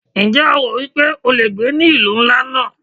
Ǹjẹ́ o rò wípé o le gbé ní ìlú ńlá náà?